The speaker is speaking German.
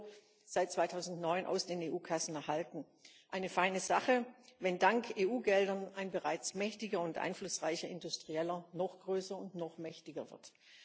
EUR, aus den EU-Kassen erhalten eine feine Sache, wenn dank EU Geldern ein bereits mächtiger und einflussreicher Industrieller noch größer und noch mächtiger wird.